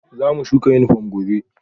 Zamu shuka yunifom gobe